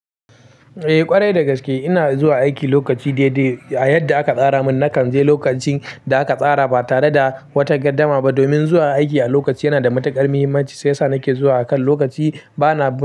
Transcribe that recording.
Eh ƙwarai dagaske ina zuwa aiki lokaci daidai. A yadda aka tsara mun nakan je lokacin da aka tsara ba tare da wata gardama ba. Domin zuwa aiki a lokaci yana da matuƙar muhimmanci shi yasa nake zuwa akan lokaci bana ba--